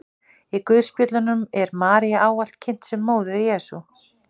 í guðspjöllunum er maría ávallt kynnt sem móðir jesú